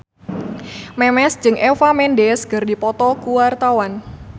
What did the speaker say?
Memes jeung Eva Mendes keur dipoto ku wartawan